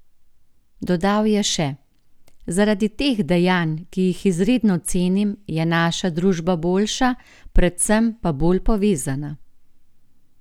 Dodal je še: "Zaradi teh dejanj, ki jih izredno cenim, je naša družba boljša, predvsem pa bolj povezana.